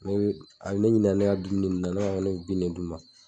Ne bi a bi ne ɲininka ne ka dumuni nunnu na ne b'a fɔ n ko ne ye bin ne d'u ma.